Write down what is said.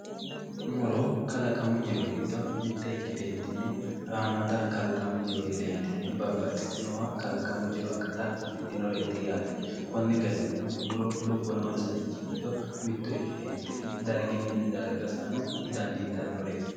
Muro kalaqamu jiro giddo mite ikkite kaentinni haamata kalaqamu jiro gedentinni babbaxitinno kalaqamu jiro akatta afidhinoreti yaate konne gonniri garininno muro lubbo noonsarichi giddo mitto ikkitetinni darginni darga sa'ano dandiittannoreti.